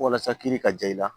Walasa kiri ka ja i la